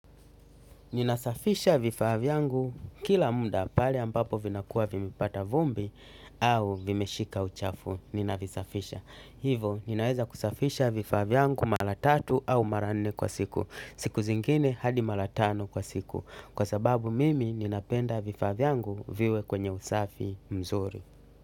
Ninasafisha vifaa vyangu kila muda pale ambapo vinakuwa vimepata vumbi au vimeshika uchafu. Ninavisafisha. Hivo ninaweza kusafisha vifaa vyangu mara tatu au mara nne kwa siku. Siku zingine hadi mara tano kwa siku. Kwa sababu mimi ninapenda vifaa vyangu viwe kwenye usafi mzuri.